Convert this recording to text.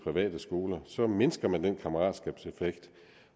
private skoler så mindsker man den kammeratskabseffekt